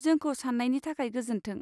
जोंखौ सान्नायनि थाखाय गोजोन्थों।